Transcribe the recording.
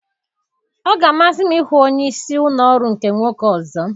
Ọ ga-amasị m ịhụ onye isi ụlọ ọrụ nke nwoke ọzọ.